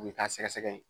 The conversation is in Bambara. O bɛ k'a sɛgɛsɛgɛ